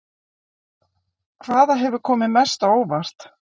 Hvaða hefur komið mest á óvart?